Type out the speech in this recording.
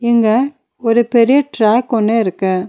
இங்க ஒரு பெரிய ட்ராக் ஒன்னு இருக்கு.